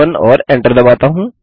B1 और enter दबाता हूँ